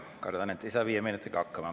Kardan, et ei saa viie minutiga hakkama.